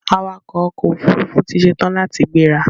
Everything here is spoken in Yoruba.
Awakọ̀ ọkò òfurufú ti ṣetán láti gbẹ́ra.